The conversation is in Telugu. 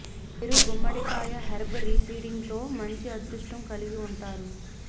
మీరు గుమ్మడికాయ హెర్బ్ రీ సీడింగ్ తో మంచి అదృష్టం కలిగి ఉంటారు